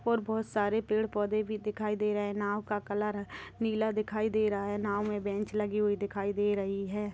--और बोहत सारे पेड़-पौधे भी दिखाई दे रहे है नाव का कलर अ नीला दिखाई दे रहा है. नाव में बेंच लगी हुई दिखाई दे रही है।